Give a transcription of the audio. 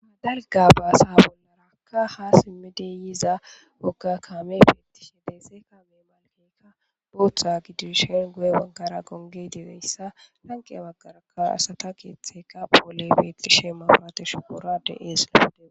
Ma dalga baasa bollarakka ha simmidiyiza bogga kaame beettishe deese kame malkeka booththa gidishen go7e wankara gonge dibeyssa lanqe baggarakka asata keeththeka pole beethishee maporate shuboora de7ees lapude.